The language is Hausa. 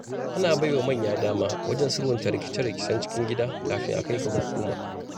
Ana baiwa manya dama wajen sulhunta rikice-rikicen cikin gida kafin a kai ga hukuma.